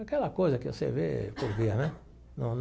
Aquela coisa que você vê por via, né não?